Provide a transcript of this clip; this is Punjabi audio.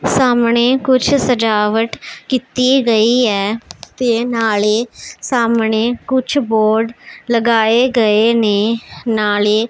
ਸਾਹਮਣੇ ਕੁੱਛ ਸਜਾਵਟ ਕੀਤੀ ਗਈ ਹੈ ਤੇ ਨਾਲੇ ਸਾਹਮਣੇ ਕੁੱਛ ਬੋਰਡ ਲਗਾਏ ਗਏ ਨੇਂ ਨਾਲੇ --